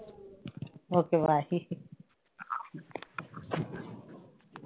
okay bye